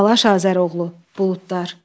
Balaş Azəroğlu, buludlar.